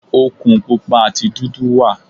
Òkun Pupa àti dúdú wà.